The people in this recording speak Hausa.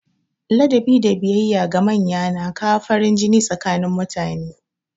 Ladabi da biyayya ga manya na kawo farin jini tsakanin mutane.